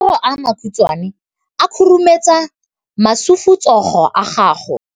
Matsogo a makhutshwane a khurumetsa masufutsogo a gago.